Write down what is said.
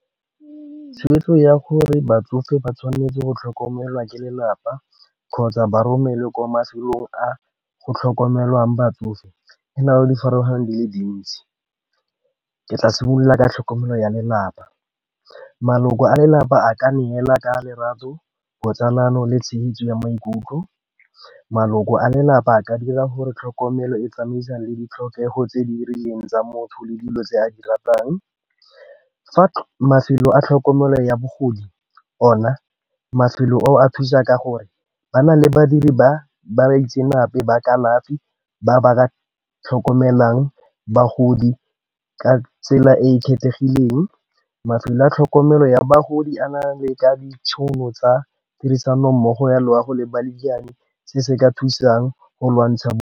Gore batsofe ba tshwanetse go tlhokomelwa ke lelapa kgotsa ba romelwe kwa mafelong a go tlhokomelwang batsofe, e na o di farologaneng di le dintsi, ke tla simolola ka tlhokomelo ya lelapa. Maloko a lelapa a ka neela ka lerato, botsalano le tshegetso ya maikutlo. Maloko a lelapa ka dira gore tlhokomelo e tsamaisang le ditlhokego tse di rileng tsa motho le dilo tse a di ratang. Fa mafelo a tlhokomelo ya bogodi ona, mafelo a thusa ka gore ba na le badiri ba baitsanape ba kalafi ba ba Ka tlhokomelang bagodi ka tsela e e kgethegileng. Mafelo a tlhokomelo ya bagodi a na le ka ditšhono tsa tirisanommogo ya loago le ba lebane se se ka thusang go lwantsha.